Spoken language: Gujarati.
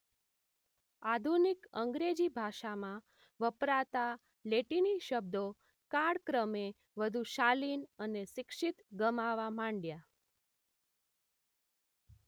આધુનિક અંગ્રેજી ભાષામાં વપરાતા લેટિની શબ્દો કાળક્રમે વધુ શાલિન અને શિક્ષિત ગમાવા માંડ્યા